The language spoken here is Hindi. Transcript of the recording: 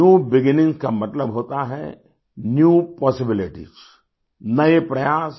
न्यू बिगिनिंग का मतलब होता है न्यू पॉसिबिलिटीज नए प्रयास